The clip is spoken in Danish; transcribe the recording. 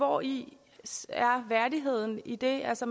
hvori er værdigheden i det altså